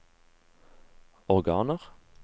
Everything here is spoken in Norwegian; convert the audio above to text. organer